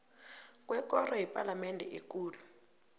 kwekoro yepalamende ekulu